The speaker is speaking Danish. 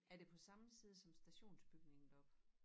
Er det på samme side som stationsbygningen deroppe?